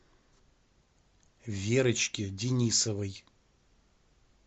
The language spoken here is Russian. верочке денисовой